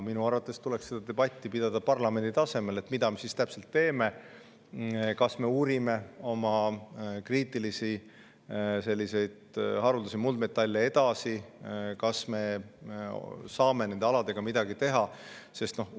Minu arvates tuleks pidada debatti selle üle, mida me täpselt teeme, parlamendi tasemel: kas me uurime oma haruldasi muldmetalle edasi, kas me saame nende aladega midagi teha?